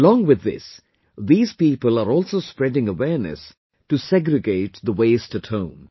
Along with this, these people are also spreading awareness to segregate the waste at home